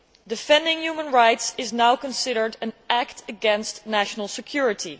Defending human rights is now considered an act against national security.